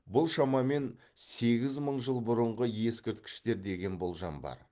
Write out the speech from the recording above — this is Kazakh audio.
бұл шамамен сегіз мың жыл бұрынғы ескірткіштер деген болжам бар